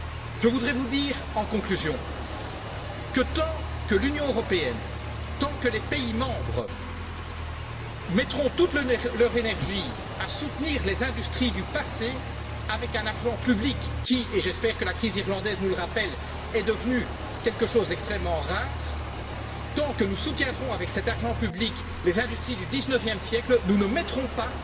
Je voudrais vous dire en conclusion que, tant que l'Union européenne, tant que les États membres mettront toute leur énergie à soutenir les industries du passé, avec un argent public qui et j'espère que la crise irlandaise nous le rappelle est devenu quelque chose d'extrêmement rare, tant que nous soutiendrons, avec cet argent public, les industries du XIXe siècle, nous ne mettrons pas